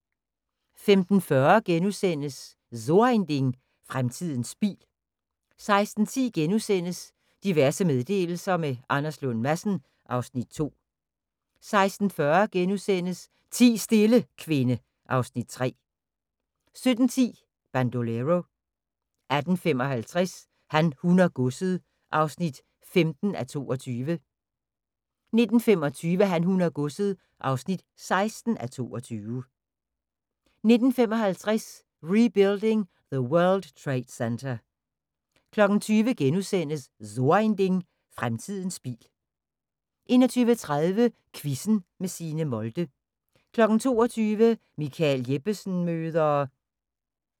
15:40: So ein Ding: Fremtiden bil * 16:10: Diverse meddelelser – med Anders Lund Madsen (Afs. 2)* 16:40: Ti stille, kvinde (Afs. 3)* 17:10: Bandolero 18:55: Han, hun og godset (15:22) 19:25: Han, hun og godset (16:22) 19:55: Rebuilding The World Trade Center 21:00: So ein Ding: Fremtiden bil * 21:30: Quizzen med Signe Molde 22:00: Michael Jeppesen møder ...